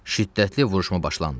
Şiddətli vuruşma başlandı.